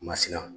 Masiran